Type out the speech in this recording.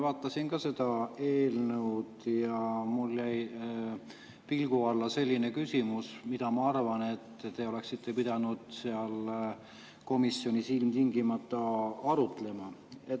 Vaatasin ka seda eelnõu ja mul jäi pilgu alla see küsimus, mida, ma arvan, te oleksite pidanud komisjonis ilmtingimata arutama.